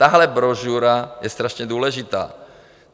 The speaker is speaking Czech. Tahle brožura je strašně důležitá.